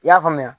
I y'a faamuya